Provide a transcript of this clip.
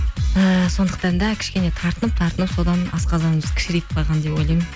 ііі сондықтан да кішкене тартынып тартынып содан асқазанымыз кішірейіп қалған деп ойлаймын